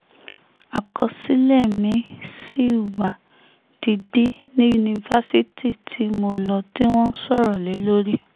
àkọsílẹ̀ mi ṣì wà digbí ní yunifásitì tí mo lọ tí wọ́n ń sọ̀rọ̀ lé lórí